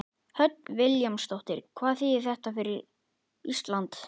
Hödd Vilhjálmsdóttir: Hvað þýðir þetta fyrir Ísland?